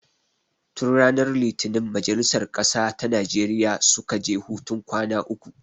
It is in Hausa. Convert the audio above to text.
Tun ranar litinin majalisar ƙasa ta Najeriya suka je hutun kwana uku